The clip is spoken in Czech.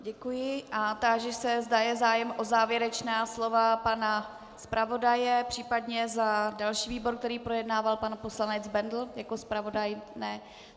Děkuji a táži se, zda je zájem o závěrečná slova pana zpravodaje, případně za další výbor, který projednával, pan poslanec Bendl jako zpravodaj.